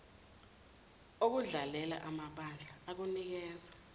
okudlalela amabandla okunikeza